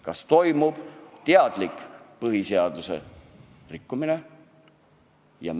Kas toimub teadlik põhiseaduse rikkumine?